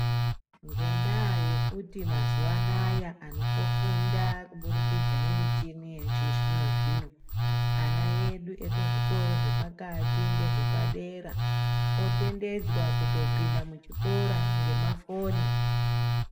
Ngendaa yekuti antu mazuva anaya kofunda kubudikidza nemishini yechizvino-zvino. Ana edu ekuzvikoro zvepakati ngezvepadera otenderedzwa kutopinda muchikora ngemafoni.